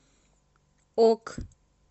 ок